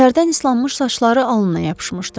Tərdən islanmış saçları alnına yapışmışdı.